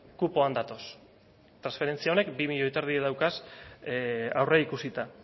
kupoan datoz transferentzia honek bi koma bost milioi dauzka aurreikusita